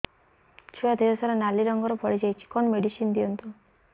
ଛୁଆ ଦେହ ସାରା ନାଲି ରଙ୍ଗର ଫଳି ଯାଇଛି କଣ ମେଡିସିନ ଦିଅନ୍ତୁ